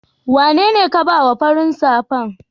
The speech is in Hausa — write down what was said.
wanene ka ba wa farin safan?